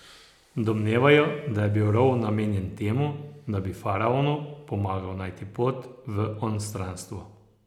Domnevajo, da je bil rov namenjen temu, da bi faraonu pomagal najti pot v onstranstvo.